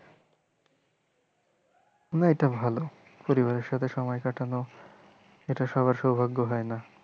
না এটা ভালো পরিবারের সাথে সময় কাটানো এটা সবার সৌভাগ্য হয়না।